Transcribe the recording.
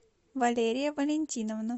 валерия валентиновна